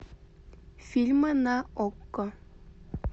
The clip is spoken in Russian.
фильмы на окко